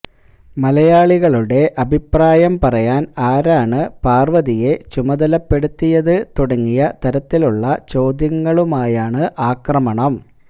മലയാളികളുടെ അഭിപ്രായം പറയാൻ ആരാണ് പാർവതിയെ ചുമതലപ്പെടുത്തിയത് തുടങ്ങിയ തരത്തിലുള്ള ചോദ്യങ്ങളുമായാണ് ആക്രമണം